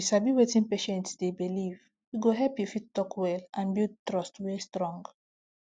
if you sabi wetin patient dey believe e go help you fit talk well and build trust wey strong